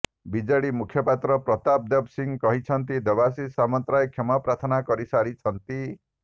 BJD ମୁଖପାତ୍ର ପ୍ରତାପ ଦେବ କହିଛନ୍ତି ଦେବାଶିଷ ସାମନ୍ତରାୟ କ୍ଷମା ପ୍ରାର୍ଥନା କରିସାରିଛନ୍ତି